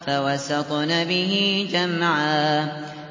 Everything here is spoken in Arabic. فَوَسَطْنَ بِهِ جَمْعًا